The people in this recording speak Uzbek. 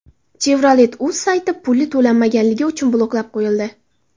Chevrolet.uz sayti puli to‘lanmagani uchun bloklab qo‘yildi.